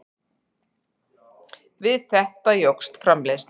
Við þetta jókst framleiðslan.